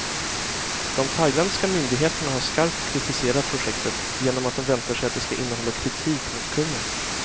De thailändska myndigheterna har skarpt kritiserat projektet, genom att de väntar sig att det ska innehålla kritik mot kungen.